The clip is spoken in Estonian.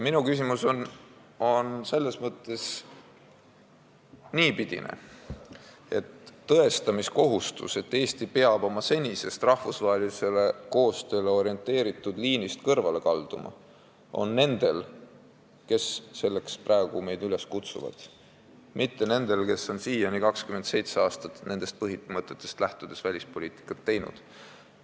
Minu jaoks on küsimus niipidine: tõestamiskohustus, et Eesti peab oma senisest rahvusvahelisele koostööle orienteeritud liinist kõrvale kalduma, on nendel, kes meid selleks praegu üles kutsuvad, mitte nendel, kes on siiani 27 aastat nendest põhimõtetest lähtudes välispoliitikat teinud.